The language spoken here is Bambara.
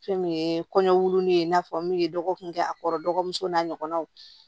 Fɛn min ye kɔɲɔ ye i n'a fɔ min ye dɔgɔkun kɛ a kɔrɔ dɔgɔmuso n'a ɲɔgɔnnaw